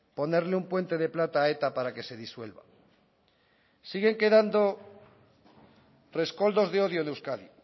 ponerle un puente de plata a eta para que se disuelva siguen quedando rescoldos de odio en euskadi